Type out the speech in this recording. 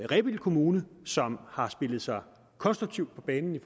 rebild kommune som har spillet sig konstruktivt på banen med